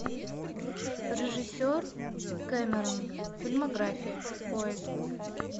режиссер кемерон фильмография поиск